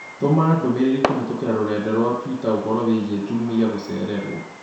Tũma ndũmĩrĩri kũhĩtũkĩra rũrenda rũa tũita ũhoro wĩgiĩ Jumai gũchererũo